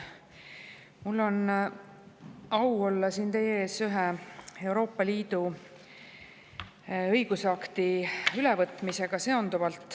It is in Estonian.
Mul on au olla siin teie ees seonduvalt ühe Euroopa Liidu õigusakti ülevõtmisega.